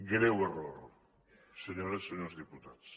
greu error senyores senyors diputats